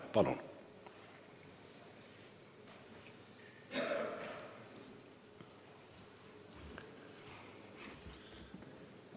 Palun!